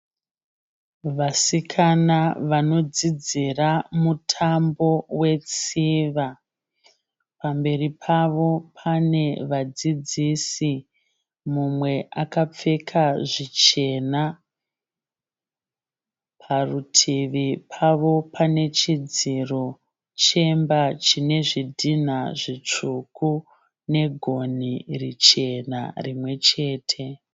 Vasikana vanodzidzira mutambo wetsiva, pamberi pavo pane vadzidzisi mumwe akapfeka zvichena. Parutivi pavo pane chidziro chemba chine zvidhinha zvitsvuku negoni richena rimwechete.